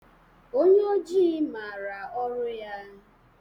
Onye oji maara ọrụ ya.